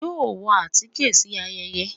yóò wọ atike si ayẹyẹ?